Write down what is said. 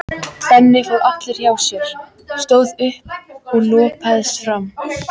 Benni fór allur hjá sér, stóð upp og lúpaðist fram.